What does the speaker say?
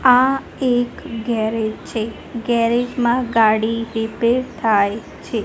આ એક ગેરેજ છે ગેરેજ માં ગાડી રિપેર થાય છે.